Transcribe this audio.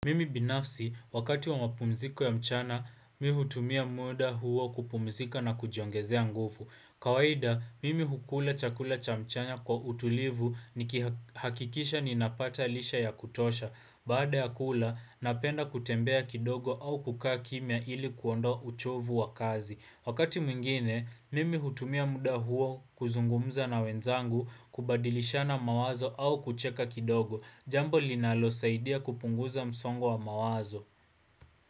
Mimi binafsi, wakati wa mapumziko ya mchana, mi hutumia muda huo kupumzika na kujiongezea nguvu. Kawaida, mimi hukula chakula cha mchana kwa utulivu nikihakikisha ninapata lisha ya kutosha. Baada ya kula, napenda kutembea kidogo au kukaa kimya ili kuondoa uchovu wa kazi. Wakati mwingine, mimi hutumia muda huo kuzungumza na wenzangu, kubadilishana mawazo au kucheka kidogo. Jambo linalosaidia kupunguza msongo wa mawazo.